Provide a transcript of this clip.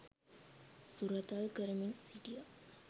සුරතල් කරමින් සිටියා.